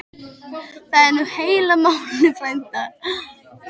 Það er nú heila málið frændi.